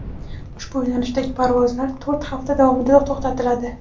ushbu yo‘nalishdagi parvozlar to‘rt hafta davomida to‘xtatiladi.